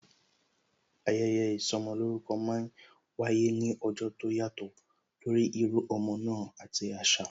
Ayẹyẹ ìsọmolórúkọ máa ń wáyé ní ọjọ́ tó yàtò torí írú ọmọ náà àti asa